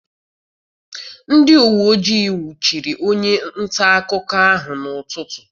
Ndị uweojii nwụchiri onye ntaakụkọ ahụ n'ụtụtụ.